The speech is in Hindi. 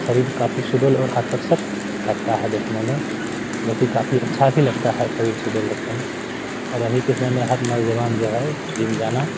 शरीर काफी सुडौल और आकर्षक लगता है देखने मे जो कि काफी अच्छा भी लगता है शरीर सुडौल देखने में और अभी के समय मे हर नौजवान जो है जिम जाना --